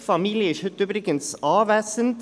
Die Familie ist heute übrigens anwesend.